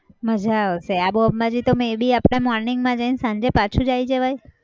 મજા આવશે આબુ અંબાજી તો may be આપણે morning જઈને સાંજે પાછુ જ આવી જવાય